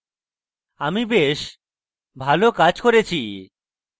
আমি বেশ ভালো কাজ করেছি